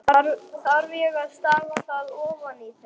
Þarf ég þá að stafa það ofan í þig?